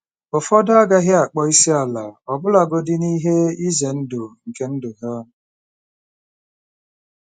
Ụfọdụ agaghị akpọ isi ala - ọbụlagodi n'ihe ize ndụ nke ndụ ha.